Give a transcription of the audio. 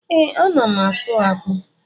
Ee, a na m ásụ́ ákpụ́